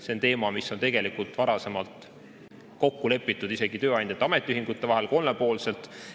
See on teema, mis on tegelikult varasemalt kokku lepitud isegi tööandjate ja ametiühingute vahel kolmepoolselt.